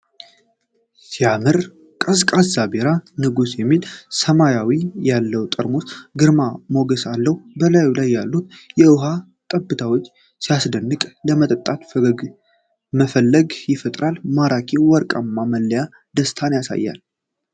ሲያምር! ቀዝቃዛ ቢራ! 'ንጉስ' የሚል ስያሜ ያለው ጠርሙስ ግርማ ሞገስ አለው። በላዩ ላይ ያሉት የውሃ ጠብታዎች ሲያስደንቅ! ለመጠጣት መፈለግን ይፈጥራል። ማራኪው ወርቃማ መለያ ደስታን ያሳያል።